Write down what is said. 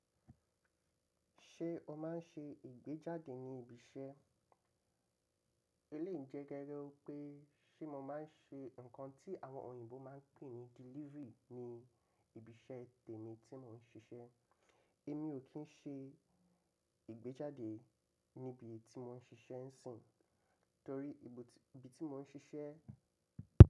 Ṣé o máa ń ṣe ìgbéjáde ní ibi iṣẹ́? Eléyi ìjẹgẹgẹ wi pé ṣé mo máa ń ṣe nǹkan tí àwọn òyìnbó máa ń pè ní delivery ní ibi iṣẹ́ tèmi tí mò ń ṣiṣẹ́. Èmi ò kí ń ṣe ìgbéjáde níbi tí mò ń ṣiṣẹ́ ń sìn. Torí ibi tí mò ń ṣiṣẹ́